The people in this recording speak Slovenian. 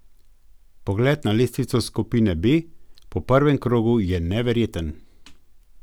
Pogled na lestvico skupine B po prvem krogu je neverjeten.